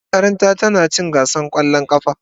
Makaranta na ta ci gasar kwallon kafa.